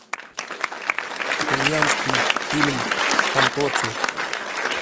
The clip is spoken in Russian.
итальянский фильм фантоцци